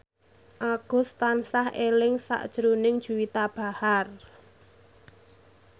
Agus tansah eling sakjroning Juwita Bahar